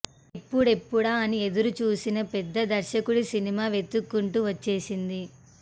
ఎప్పుడెప్పుడా అని ఎదురు చూసిన పెద్ద దర్శకుడి సినిమా వెతుక్కుంటూ వచ్చేసింది